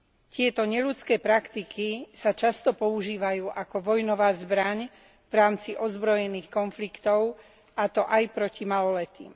Tieto neľudské praktiky sa často používajú ako vojnová zbraň v rámci ozbrojených konfliktov, a to aj proti maloletým.